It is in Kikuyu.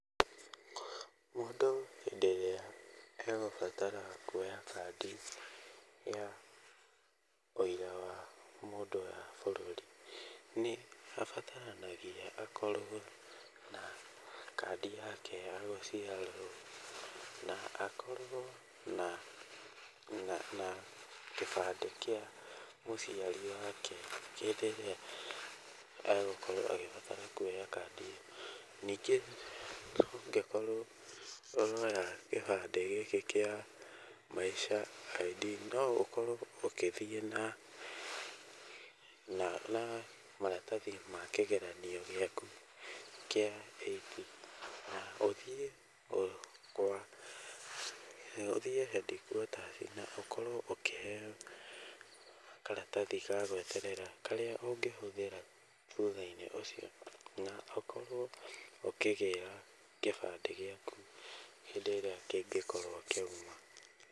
Mũndũ hĩndĩ ĩrĩa egũbatara kuoya kandi ya ũira wa mũndũ ya bũrũri nĩ abataranagia akorwo na kandi yake ya gũciarwo na akorwo na, na kĩbandĩ kĩa mũciari wake hĩndĩ ĩrĩa egũkorwo agĩbatara kuoya kandi. Nĩngĩ ũngĩkorwo ũroya gĩbandĩ gĩkĩ kĩa Maisha ID no ũkorwo ũgĩthiĩ na maratathi ma kĩgeranio gĩaku kĩa Eight na ũthiĩ kwa, ũthiĩ Headquarters na ũkorwo ũkĩheo karatathi ga gweterera karĩa ũngĩhũthĩra thutha-inĩ ũcio, na ũkorwo ũkĩgĩra kĩbandĩ gĩaku hĩndĩ ĩrĩa kĩngĩkorwo kĩoima.